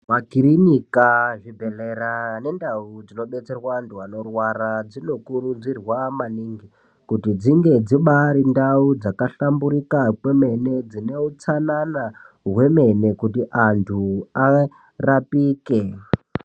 Makirinika, zvibhedhlera nendau dzinobetserwa antu anorwara dzinokurudzirwa maningi kuti dzinge dzibaari ndau dzakahlamburika kwemene dzine utsanana hwemene kuti antu arapike.